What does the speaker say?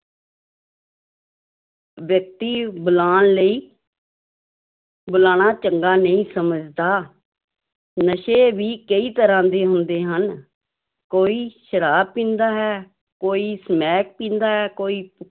ਵਿਅਕਤੀ ਬੁਲਾਉਣ ਲਈ ਬੁਲਾਉਣਾ ਚੰਗਾ ਨਹੀਂ ਸਮਝਦਾ, ਨਸ਼ੇ ਵੀ ਕਈ ਤਰ੍ਹਾਂ ਦੇ ਹੁੰਦੇ ਹਨ, ਕੋਈ ਸ਼ਰਾਬ ਪੀਂਦਾ ਹੈ, ਕੋਈ ਸਮੈਕ ਪੀਂਦਾ ਹੈ, ਕੋਈ